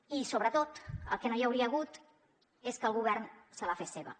i sobretot el que no hi hauria hagut és que el govern se la fes seva